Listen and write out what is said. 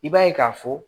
I b'a ye k'a fɔ